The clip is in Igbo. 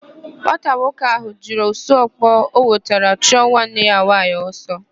Nwata nwoke ahụ jiri osu ọkpọ ọ nwụtara chụọ nwanne ya nwaanyị ọsọ.